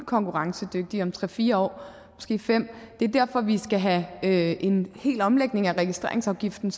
konkurrencedygtige om tre fire år måske fem år og det er derfor vi skal have en hel omlægning af registreringsafgiften